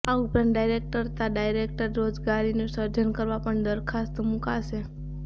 આ ઉપરાંત ડાયરેકટ તા ઈન્ડાયરેકટ રોજગારીનું સર્જન કરવા પણ દરખાસ્ત મુકાશે